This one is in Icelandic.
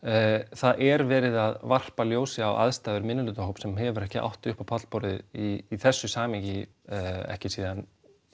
það er verið að varpa ljósi á aðstæður minnihlutahóps sem hefur ekki átt upp á pallborðið í þessu samhengi ekki síðan